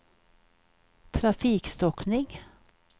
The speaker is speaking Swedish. trafikstockning